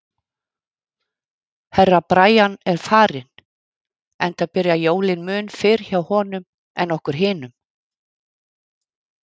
Herra Brian er farinn, enda byrja jólin mun fyrr hjá honum en okkur hinum.